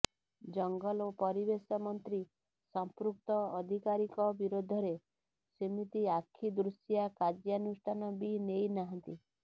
ଜଙ୍ଗଲ ଓ ପରିବେଶ ମନ୍ତ୍ରୀ ସଂପୃକ୍ତ ଅଧିକାରୀଙ୍କ ବିରୋଧରେ ସେମିତି ଆଖିଦୃଶିଆ କାର୍ଯ୍ୟାନୁଷ୍ଠାନ ବି ନେଇନାହାନ୍ତି